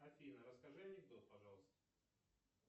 афина расскажи анекдот пожалуйста